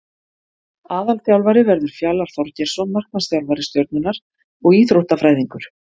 Aðalþjálfari verður Fjalar Þorgeirsson markmannsþjálfari Stjörnunnar og Íþróttafræðingur.